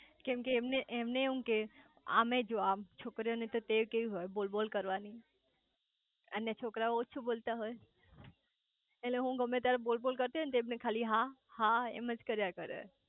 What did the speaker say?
કેમ કે એમને એમને એમ કે આમેય જો આમ છોકરીએ ને તો ટેવ કેવી હોય બોલ બોલ કરવાની અને છોકરાવો ઓછું બોલતા હોય એટલે હું ગમેત્યારે બોલ બોલ કરતી હોય ને તો એમને ખાલી હા હા એમજ કર્યા કરે